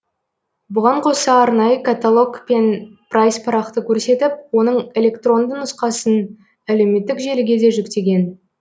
бұған қоса арнайы каталог пен прайс парақты көрсетіп оның электронды нұсқасын әлеуметтік желіге де жүктеген